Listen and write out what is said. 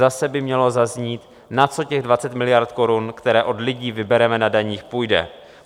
Zase by mělo zaznít, na co těch 20 miliard korun, které od lidí vybereme na daních, půjde.